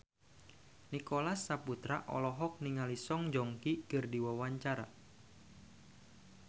Nicholas Saputra olohok ningali Song Joong Ki keur diwawancara